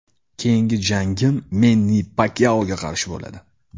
Keyingi jangim Menni Pakyaoga qarshi bo‘ladi.